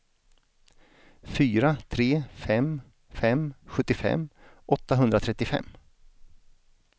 fyra tre fem fem sjuttiofem åttahundratrettiofem